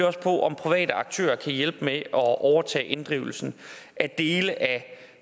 også på om private aktører kan hjælpe med at overtage inddrivelsen af dele af